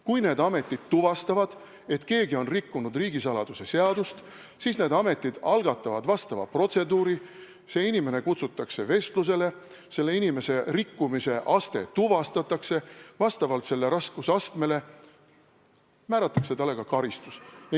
Kui need ametid tuvastavad, et keegi on rikkunud riigisaladuse seadust, siis need ametid algatavad protseduurid, see inimene kutsutakse vestlusele, selle inimese rikkumise aste tuvastatakse ja vastavalt selle raskusastmele määratakse talle ka karistus.